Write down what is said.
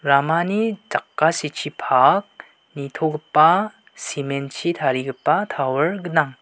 ramani jakasichipak nitogipa cement-chi tarigipa tower gnang.